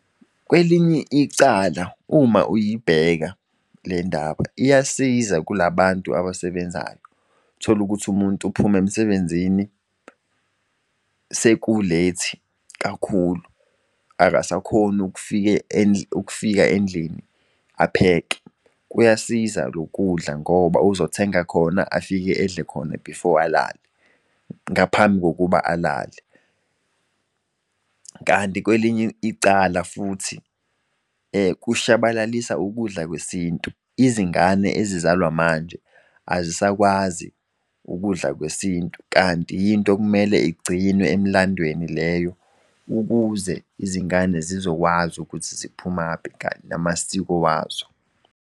Kwelinye icala uma uyibheka le ndaba iyasiza kulabantu abasebenzayo. Tholukuthi umuntu uphume emsebenzini sekulethi kakhulu, akasakhoni ukufika endlini apheke. Kuyasiza lo kudla ngoba uzothenga khona afike edle khona before alale ngaphambi kokuba alale kanti kwelinye icala futhi kushabalalisa ukudla kwesintu. Izingane ezizalwa manje azisakwazi ukudla kwesintu kanti yinto okumele igcinwe emlandweni leyo ukuze izingane zizokwazi ukuthi ziphumaphi namasiko wazo.